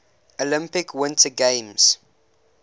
olympic winter games